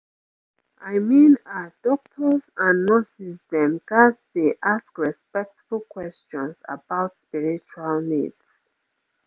i mean ah doctors and nurses dem ghats dey ask respectful questions about spiritual needs